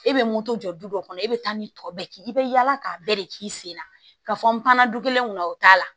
E bɛ moto jɔ du dɔ kɔnɔ e bɛ taa ni tɔ bɛɛ k'i bɛ yaala k'a bɛɛ de k'i sen na ka fɔ n panna du kelen kɔnɔ o t'a la